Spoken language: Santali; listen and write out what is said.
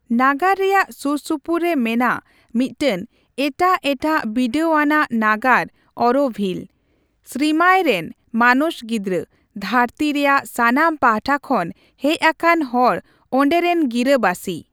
ᱱᱟᱜᱟᱨ ᱨᱮᱭᱟᱜ ᱥᱩᱨᱥᱩᱯᱩᱨ ᱨᱮ ᱢᱮᱱᱟᱜ ᱢᱤᱫᱴᱟᱝ ᱮᱴᱟᱜ ᱮᱴᱟᱜ ᱵᱤᱰᱟᱹᱣ ᱟᱱᱟᱜ ᱱᱟᱜᱟᱨ ᱚᱨᱳᱵᱷᱤᱞ, ᱥᱨᱤᱢᱟᱭ ᱨᱮᱱ ᱢᱟᱱᱚᱥ ᱜᱤᱫᱽᱨᱟᱹ, ᱫᱷᱟᱹᱨᱛᱤ ᱨᱮᱭᱟᱜ ᱥᱟᱱᱟᱢ ᱯᱟᱦᱴᱟ ᱠᱷᱚᱱ ᱦᱮᱡ ᱟᱠᱟᱱ ᱦᱚᱲ ᱚᱸᱰᱮᱨᱮᱱ ᱜᱤᱨᱟᱹᱵᱟᱥᱤ᱾